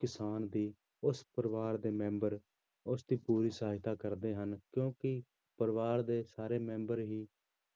ਕਿਸਾਨ ਦੀ ਉਸ ਪਰਿਵਾਰ ਦੇ ਮੈਂਬਰ ਉਸਦੀ ਪੂਰੀ ਸਹਾਇਤਾ ਕਰਦੇ ਹਨ ਕਿਉਂਕਿ ਪਰਿਵਾਰ ਦੇ ਸਾਰੇ ਮੈਂਬਰ ਵੀ